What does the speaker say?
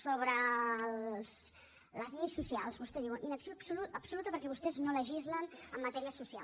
sobre les lleis socials vostè diu inacció absoluta perquè vostès no legislen en matèria social